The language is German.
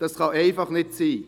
Das kann einfach nicht sein.